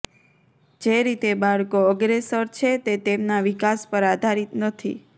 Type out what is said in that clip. જે રીતે બાળકો અગ્રેસર છે તે તેમના વિકાસ પર આધારિત નથી